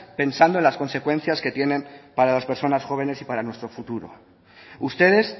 pensando en las consecuencias que tienen para las personas jóvenes y para nuestro futuro ustedes